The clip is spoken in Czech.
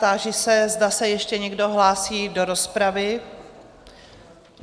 Táži se, zda se ještě někdo hlásí do rozpravy?